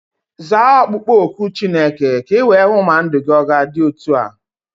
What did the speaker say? Zaa okpukpo oku Chineke ka iwee hụ ma ndụ gị ọ ga-adị otu a.